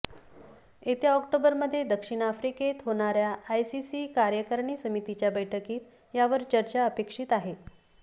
येत्या ऑक्टोबरमध्ये दक्षिण आफ्रिकेत होणाऱ्या आयसीसी कार्यकारिणी समितीच्या बैठकीत यावर चर्चा अपेक्षित आहे